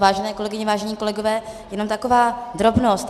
Vážené kolegyně, vážení kolegové, jenom taková drobnost.